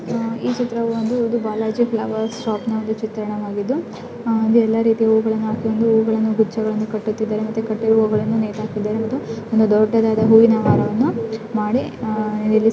ಈ ಚಿತ್ರವೂ ಒಂದು ಬಾಲಾಜಿ ಫ್ಲವರ್ಸ್ ಶಾಪ್ನ ಒಂದು ಚಿತ್ರಣವಾಗಿದ್ದು ಅಲ್ಲಿ ಎಲ್ಲ ರೀತಿಯ ಹೂವುಗಳನ್ನು ಕಟ್ಟುತ್ತಿದಾರೆ ಮತ್ತೆ ಕಟ್ಟೋ ಹೂವುಗಳನ್ನು ನೇತಾಕಿದಾರೆ ಹಾಗೆ ಒಂದು ದೊಡ್ಡವಾದ ಹೂವಿನ ಹಾರವನ್ನ ಮಾಡಿ ಇಲ್ಲಿ --